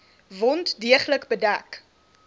wond deeglik bedek